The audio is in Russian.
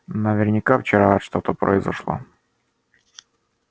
наверняка вчера что-то произошло